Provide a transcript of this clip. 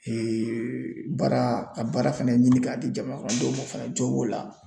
baara ka baara fɛnɛ ɲini k'a di jamanakɔnɔdenw ma fɛnɛ la